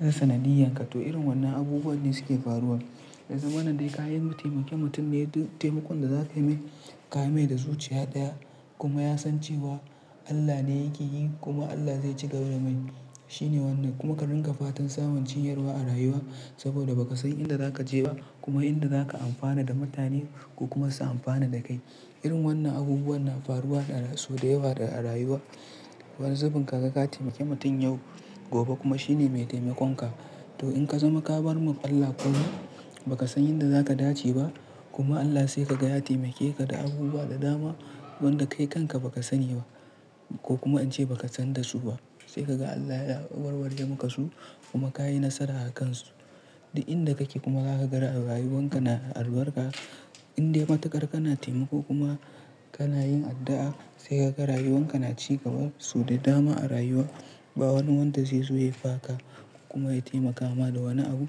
sanadiyyanka. To irin wannan abubuwa ne suke faruwa. Ya zamana dai ka yi ka taimaki mutum dai duk taimakon da za ka yi mai ka yi mai da zuciya ɗaya kuma ya san cewa Allah ne yake yi kuma Allah zai cigaba da mai. Shi ne wannan kuma ka ringa fatan samun cinyarwa a rayuwa saboda ba ka san inda za ka je ba kuma inda za ka amfana da mutane ko kuma su amfana da kai. Irin wannan abubuwa na faruwa sau da yawa a rayuwa. Wani zubin ka ga ka taimaki mutum yau gobe kuma shi ne mai taimakon ka. To in ka zama ka bar mun Allah kawai ba ka san inda za ka dace ba kuma Allah sai ka ga ya taimake ka da abubuwa da dama wanda kai kanka ba ka sani ba ko kuma ince ba ka san da su ba. Sai ka ga Allah ya warware maka su kuma ka yi nasara a kan su. Da inda kake kuma ka ga rayuwan ka na albarka inda matuƙar kana taimako kuma kana yin addu'a sai ka ga rayuwan ka na cigaba su da dama a rayuwa. Ba wani wanda zai zo ya yi faka kuma ya taimaka ma da wani abu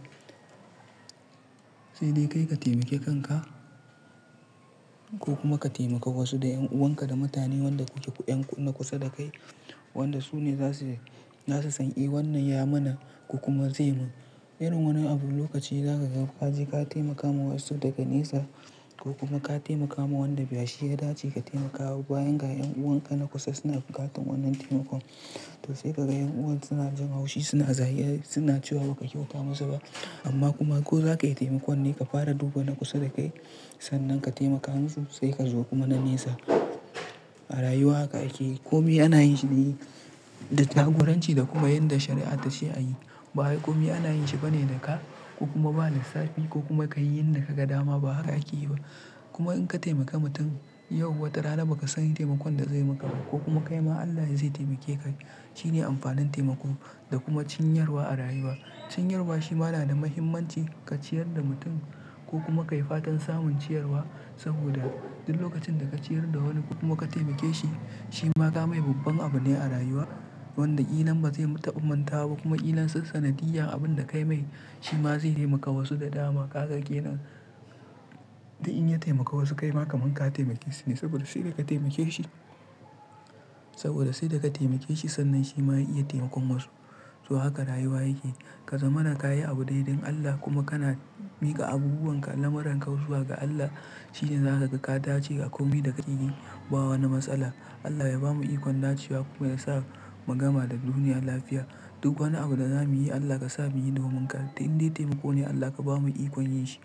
sai dai kai ka taimaki kanka ko kuma ka taimaka wasu da 'yan'uwan ka da mutane wanda kuke yan kusa da kai wanda su ne za su, za su sani wannan ya mana ko kuma zai mun. Irin wannan abu lokaci za ka ga ka je ka taimakawa wasu daga nesa ko kuma ka taimakawa wanda ba shi ya dace ka taimakawa bayan ga 'yan'uwan ka na kusa suna buƙatar wannan taimakon. To sai ka ga 'yan'uwan suna jin haushi suna zagi suna cewa ba ka kyau fa musu ba amma kuma ko za ka yi taimakon ne ka fara duba na kusa da kai sannan ka taimaka hansu sai ka zo kuma na nesa. A rayuwa haka yake komi ana yin shi da jaguranci da kuma yanda shari'a ta ce a yi. Ba komi ana yin shi bane da ka ko kuma ba lissafi ko kuma ka yi yanda ka ga dama ba haka ake yi ba. Kuma in ka taimaka mutum yau wata rana ba ka san taimakon da zai maka ba ko kuma kai ma Allah zai taimake ka. Shi ne amfanin taimako da kuma cinyarwa a rayuwa. Cinyarwa shi ma na da mahimmanci ka ciyar da mutum ko kuma ka yi fatan samun ciyarwa saboda duk lokacin da ka ciyar da wani kuma ka taimake shi, shi ma ka mai babban abu ne a rayuwa wanda ƙilan bazai taɓa manta ko kuma ƙilan sassanadiyya abun da ka yi mai shi ma zai taimaka wasu da dama. Haka kenan. Da in ya taimaka wasu kai ma kaman ka taimake su ne saboda sai da ka taimake shi-- saboda sai da ka taimake shi sannan shi ma ya iya taimakon wasu. To haka rayuwa yake. Ka zama na ka yi abu dai dun Allah kuma kana miƙa abubuwan ka da lamaran ka zuwa ga Allah shi ne za ka ga ka dace a komi da ka yi ba wani matsala. Allah ya bamu ikon dacewa kuma ya sa mu gama da duniya lafiya. Duk wani abu da za mu yi Allah ka sa mu yi domin ka. Dai inda taimako ne Allah ka bamu ikon yin shi.